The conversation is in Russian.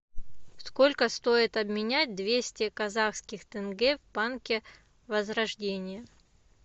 сколько стоит обменять двести казахских тенге в банке возрождение